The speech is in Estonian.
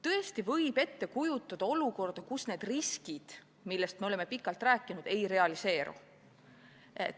Tõesti võib ette kujutada olukorda, kus need riskid, millest me oleme pikalt rääkinud, ei realiseeru.